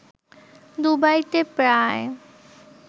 দুবাইতে প্রায়